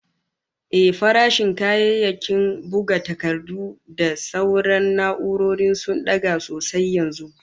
Ehh, farashin kayayyakin buga takardu da sauran na'urori sun daga sosai yanzu